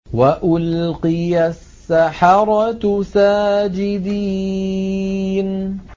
وَأُلْقِيَ السَّحَرَةُ سَاجِدِينَ